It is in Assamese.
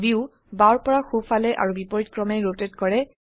ভিউ বাওৰ পৰা সো ফালে আৰু বিপৰীত ক্ৰমত ৰোটেট কৰে